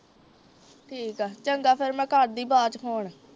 ਠੀਕ ਐ ਚੰਗਾ ਫੇਰ ਮੈਂ ਕਰਦੀ ਬਾਅਦ ਵਿਚ ਫੋਨ।